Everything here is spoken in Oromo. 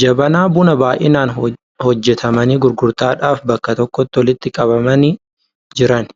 Jabanaa bunaa baay'inaan hojjetamanii gurgurtaadhaaf bakka tokkotti walitti qabamanii jiran.